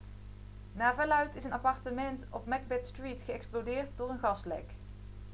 naar verluidt is een appartement op macbeth street geëxplodeerd door een gaslek